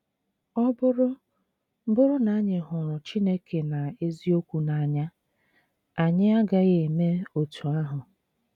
Ọ bụrụ bụrụ na anyị hụrụ Chineke na eziokwu n’anya, anyị agaghị eme otú ahụ.